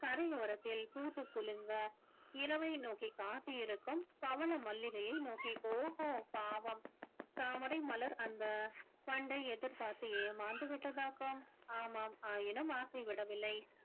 கரையோரத்தில் பூத்துக் குலுங்க இரவை நோக்கி காத்திருக்கும் பவள மல்லிகையை நோக்கி ஓகோ பாவம் தாமரை மலர் அந்த வண்டை எதிர்பார்த்து ஏமாந்து விட்டதாக்கும் ஆமாம் ஆயினும் ஆசை விடவில்லை